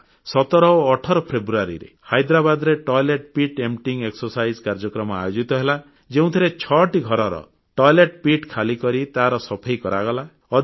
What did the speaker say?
17 ଓ 18 ଫେବୃୟାରୀରେ ହାଇଦ୍ରାବାଦରେ ପାଇଖାନା ଟାଙ୍କି ସଫେଇ କାର୍ଯ୍ୟ ଟଏଲେଟ୍ ପିଟ୍ ଏମ୍ପଟିଂ ଏକ୍ସରସାଇଜ୍ କାର୍ଯ୍ୟକ୍ରମ ଆୟୋଜିତ ହେଲା ଯେଉଁଥିରେ ଛଅଟି ଘରର ପାଇଖାନା ଟାଙ୍କିକୁ ଖାଲିକରି ତାର ସଫେଇ କରାଗଲା